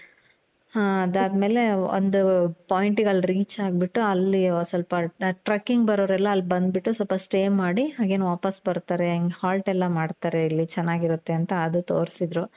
ಹಾ ಅದಾದಮೇಲೆ ಒಂದು point ಗೆ ಅಲ್ಲಿ reach ಆಗ್ಬಿಟ್ಟು ಅಲ್ಲಿ ಸ್ವಲ್ಪ truckingಬರೋರು ಎಲ್ಲಾ ಅಲ್ಲಿ ಬಂದು ಬಿಟ್ಟು ಸ್ವಲ್ಪ stay ಮಾಡಿ again ವಾಪಾಸ್ ಬರ್ತಾರೆ. halt ಎಲ್ಲಾ ಮಾಡ್ತಾರೆ ಇಲ್ಲಿ ಚೆನಾಗಿರುತ್ತೆ ಅಂತ ಅದು ತೋರ್ಸಿದ್ರು.